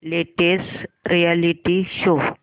latest reality show